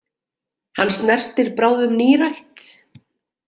Hann snertir bráðum nírætt.